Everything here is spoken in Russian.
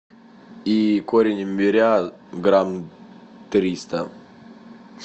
и корень имбиря грамм триста